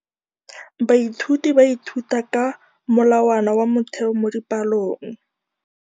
Baithuti ba ithuta ka molawana wa motheo mo dipalong.